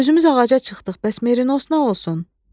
Özümüz ağaca çıxdıq, bəs merinos nə olsun?